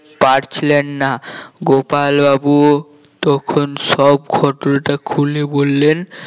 পারছিলেন না গোপাল বাবু তখন সব ঘটনা খুলে বললেন